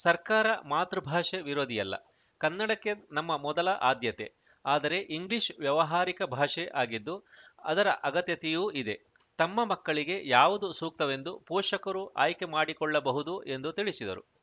ಸರ್ಕಾರ ಮಾತೃಭಾಷೆ ವಿರೋಧಿಯಲ್ಲ ಕನ್ನಡಕ್ಕೆ ನಮ್ಮ ಮೊದಲ ಆದ್ಯತೆ ಆದರೆ ಇಂಗ್ಲಿಷ್‌ ವ್ಯಾವಹಾರಿಕ ಭಾಷೆ ಆಗಿದ್ದು ಅದರ ಅಗತ್ಯತೆಯೂ ಇದೆ ತಮ್ಮ ಮಕ್ಕಳಿಗೆ ಯಾವುದು ಸೂಕ್ತವೆಂದು ಪೋಷಕರು ಆಯ್ಕೆ ಮಾಡಿಕೊಳ್ಳಬಹುದು ಎಂದು ತಿಳಿಸಿದರು